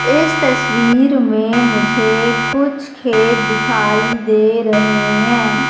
इस तस्वीर में मुझे कुछ खेत दिखाई दे रहे हैं।